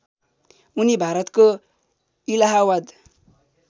उनी भारतको इलाहावाद